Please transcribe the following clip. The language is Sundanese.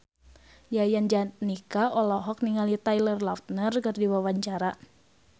Yayan Jatnika olohok ningali Taylor Lautner keur diwawancara